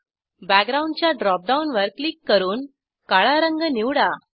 background च्या drop डाऊनवर click करून काळा रंग निवडा